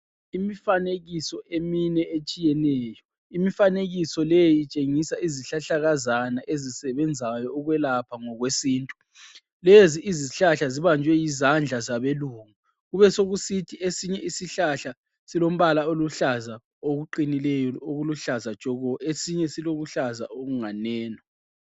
Imifanekiso emine etshiyeneyo imifanekiso leyi itshengisa izihlahlakazana ezisebenzayo ukwelapha ngokwesintu. Lezi izihlahla zibanjwe yizandla zabe lungu kubesokusithi esinye isihlahla silombala oluhlaza okuqinileyo okuluhlaza tshoko esinye silokuhlaza okunganeno.